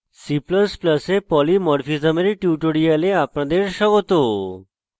c ++ এ polymorphism এর tutorial আপনাদের স্বাগত